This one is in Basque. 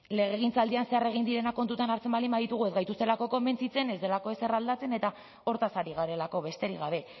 legegintzaldian zehar egin direnak kontutan hartzen baldin baditugu ez gaituztelako konbentzitzen ez delako ezer aldatzen eta hortaz ari garelako besterik gabe